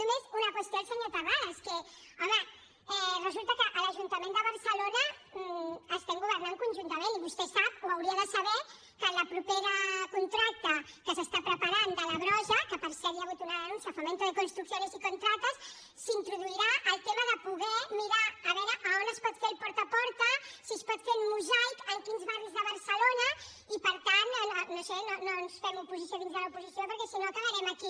només una qüestió al senyor terrades que home resulta que a l’ajuntament de barcelona estem governant conjuntament i vostè sap ho hauria de saber que en el proper contracte que s’està preparant de la brossa que per cert hi ha hagut una denúncia a fomento de construcciones y contratas s’introduirà el tema de poder mirar a veure on es pot fer el porta a porta si es pot fer un mosaic en quins barris de barcelona i per tant no ho sé no ens fem oposició dins de l’oposició perquè si no acabarem aquí